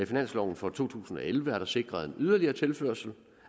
finansloven for to tusind og elleve er der sikret en yderligere tilførsel